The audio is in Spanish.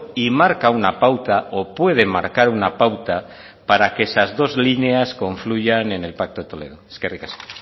y marca una pauta o puede marcar una pauta para que esas dos líneas confluyan en el pacto de toledo eskerrik asko